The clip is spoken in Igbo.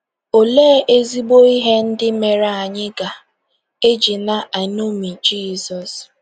Olee ezigbo ihe ndị mere anyị ga - eji na - eṅomi Jizọs?